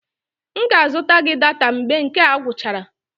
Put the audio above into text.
M ga-azụta gị data mgbe nke a gwụchara